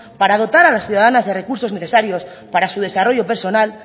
para dotar a las ciudadanas de recursos necesarios para su desarrollo personal